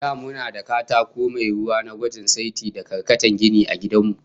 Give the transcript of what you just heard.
Da muna da katako mai ruwa na gwajin sati da karkatan gini, a gidan mu